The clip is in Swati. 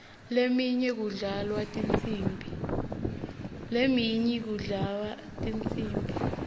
leminye kudlalwa tinsimbi